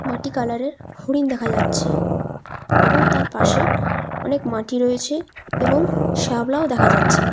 মাটি কালার -এর হরিন দেখা যাচ্ছে এবং তার পাশে অনেক মাটি রয়েছে এবং শ্যাওলাও দেখা যাচ্ছে।